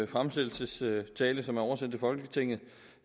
fremsættelsestale som er oversendt folketinget